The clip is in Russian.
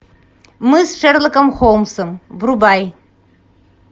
мы с шерлоком холмсом врубай